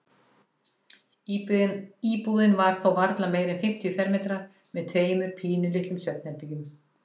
Íbúðin var þó varla meira en fimmtíu fermetrar með tveimur pínulitlum svefnherbergjum.